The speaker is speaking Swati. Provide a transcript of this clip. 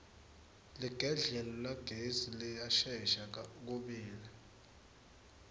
ligedlela lagesi liyashesha kubila